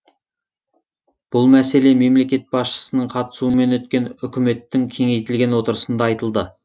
бұл мәселе мемлекет басшысының қатысуымен өткен үкіметтің кеңейтілген отырысында айтылды